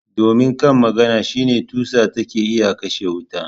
Domin kan maganan shine tusa taken iya kashe wuta.